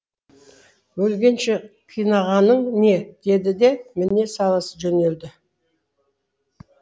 өлгенше қинағаның не деді де міне сала жөнелді